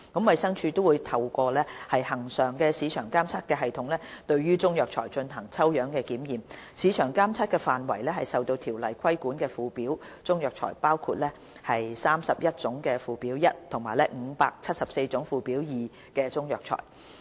衞生署亦會透過恆常市場監測系統對中藥材進行抽樣檢驗，市場監測範圍為受《條例》規管的附表中藥材，包括31種附表1及574種附表2中藥材。